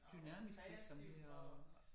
Dynamisk virksomhed og